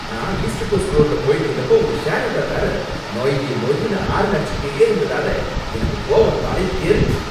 நான் east coast ரோட்டுல போயிட்டு இருந்தப்ப ஒரு ஷேர் ஆட்டோக்காரர் நொய் நொய்னு ஹாரன் அடிச்சுட்டே இருந்ததால எனக்கு கோவம் தலைக்கேறிடுச்சு